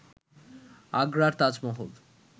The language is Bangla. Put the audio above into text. আগ্রার তাজমহল